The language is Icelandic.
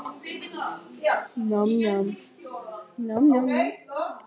Ferlið getur verið langt enda geta frumvörp bæði sofnað í nefnd eða tafist vegna málþófs.